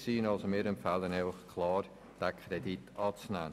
Deshalb empfehlen wir Ihnen klar, diesen Kredit anzunehmen.